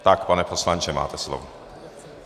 Tak, pane poslanče, máte slovo.